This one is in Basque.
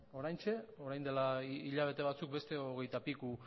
oraintxe orain dela hilabete batzuk beste hogeita piku